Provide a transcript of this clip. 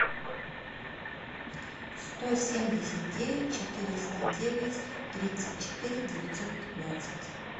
сто семьдесят девять четыреста девять тридцать четыре девятьсот пятнадцать